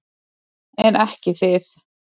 En ekki þið.